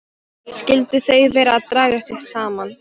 Skyldu þau vera að draga sig saman?